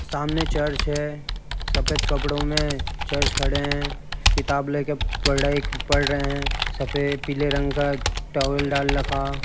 सामने चर्च है। सफेद कपड़ों में चर्च खड़े हैं किताब लेकर पढ़ाई पढ़ रहे हैं सफेद पीले रंग का टॉवल डाल रखा --